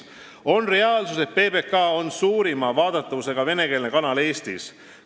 See on reaalsus, et PBK on suurima vaadatavusega venekeelne kanal Eestis.